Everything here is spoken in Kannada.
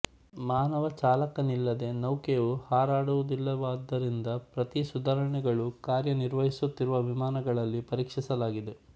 ಮಾನವ ಚಾಲಕನಿಲ್ಲದೆ ನೌಕೆಯು ಹಾರಾಡುವುದಿಲ್ಲವಾದ್ದರಿಂದ ಪ್ರತೀ ಸುಧಾರಣೆಗಳೂ ಕಾರ್ಯ ನಿರ್ವಹಿಸುತ್ತಿರುವ ವಿಮಾನಗಳಲ್ಲಿ ಪರೀಕ್ಷಿಸಲಾಗಿದೆ